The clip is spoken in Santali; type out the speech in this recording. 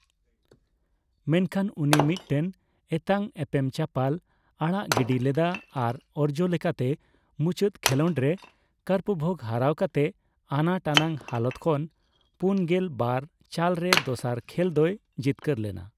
ᱢᱮᱱᱠᱷᱟᱱ ᱩᱱᱤ ᱢᱤᱫᱴᱮᱱ ᱮᱛᱟᱝ ᱮᱯᱮᱢ ᱪᱟᱯᱟᱞ ᱟᱲᱟᱜ ᱜᱤᱰᱤ ᱞᱮᱫᱟ ᱟᱨ ᱚᱨᱡᱚ ᱞᱮᱠᱟᱛᱮ ᱢᱩᱪᱟᱹᱫ ᱠᱷᱮᱞᱚᱸᱰ ᱨᱮ ᱠᱟᱨᱯᱵᱷᱚᱜ ᱦᱟᱨᱟᱣ ᱠᱟᱛᱮ ᱟᱱᱟᱴᱟᱱᱟᱜ ᱦᱟᱞᱚᱛ ᱠᱷᱚᱱ ᱯᱩᱱᱜᱮᱞ ᱵᱟᱨ ᱪᱟᱞ ᱨᱮ ᱫᱚᱥᱟᱨ ᱠᱷᱮᱞᱫᱚᱭ ᱡᱤᱛᱠᱟᱹᱨ ᱞᱮᱱᱟ ᱾